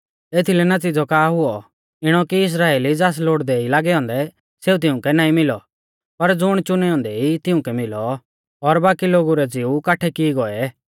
एथीलै नतीज़ौ का हुऔ इणौ कि इस्राइली ज़ास लोड़दै ई लागै औन्दै सेऊ तिउंकै नाईं मिलौ पर ज़ुण च़ुनै औन्दै ई तिउंकै मिलौ और बाकी लोगु रै ज़िऊ काठै की ई गौऐ